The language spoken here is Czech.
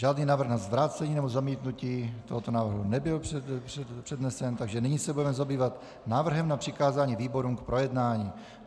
Žádný návrh na vrácení nebo zamítnutí tohoto návrhu nebyl přednesen, takže nyní se budeme zabývat návrhem na přikázání výborům k projednání.